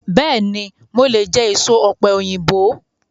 Bẹ́ẹ̀ni, mo lè jẹ èso ọ̀pẹ̀yìnbo.